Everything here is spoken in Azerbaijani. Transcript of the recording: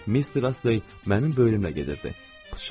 Misternası, mənim böyrümdə gedirdi.